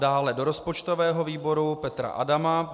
Dále do rozpočtového výboru Petra Adama.